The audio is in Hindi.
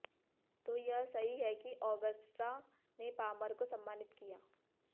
तो यह सही है कि ऑगस्टा ने पामर को सम्मानित किया है